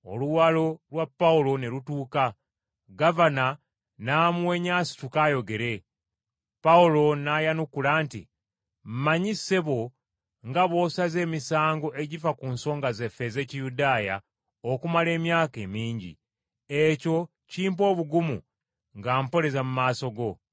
Oluwalo lwa Pawulo ne lutuuka, gavana n’amuwenya asituke ayogere. Pawulo n’ayanukula nti, “Mmanyi, ssebo, nga bw’osaze emisango egifa ku nsonga zaffe ez’Ekiyudaaya okumala emyaka emingi, ekyo kimpa obugumu nga mpoleza mu maaso go.